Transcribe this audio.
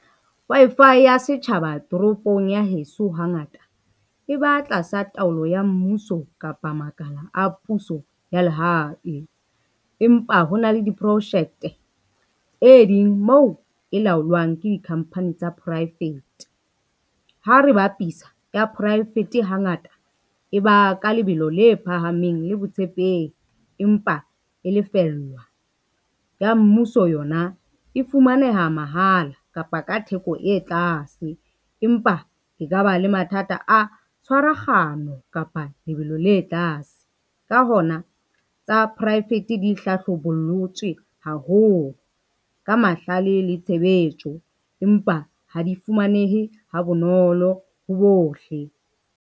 Wi-Fi ya setjhaba toropong ya heso hangata, e ba tlasa taolo ya mmuso kapa makala a puso ya lehae. Empa hona le diproushete moo e laolwang ke di-company tsa poraefete. Ha re bapisa ya poraefete hangata e ba ka lebelo le phahameng le botshepehi empa e lefellwa, ya mmuso yona e fumaneha mahala kapa ka theko e tlase, empa ke ka ba le mathata a tshwaragano ho kapa lebelo le tlase. Ka hona, tsa poraefete di hlahlobolotswe haholo ka mahlale le tshebetso, empa ha di fumanehe ha bonolo ho bohle.